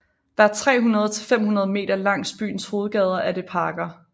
Hver 300 til 500 meter langs byens hovedgader er det parker